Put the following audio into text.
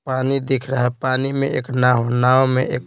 पानी दिख रहा है पानी में एक नाव नाव में एक --